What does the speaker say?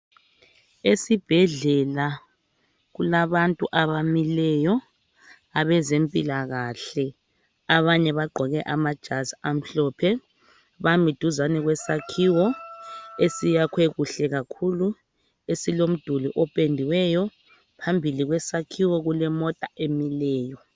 Esibhedlela kulabantu abamileyo abezempilakahle. Abanye bagqoke amajazi amhlophe .Bami duzane kwesakhiwo esiyakhwe kuhle kakhulu esilomduli opendiweyo. Phambili kwesakhiwo kule mota emileyo.